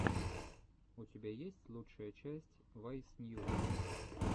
у тебя есть лучшая часть вайс ньюс